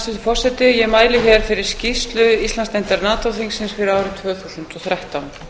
hæstvirtur forseti ég mæli hér fyrir skýrslu íslandsdeildar nato þingsins fyrir árið tvö þúsund og þrettán